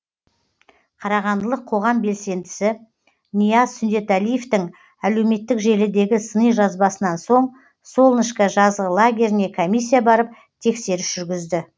қарағандылық қоғам белсендісі нияз сүндетәлиевтің әлеуметтік желідегі сыни жазбасынан соң солнышко жазғы лагеріне комиссия барып тексеріс жүргізді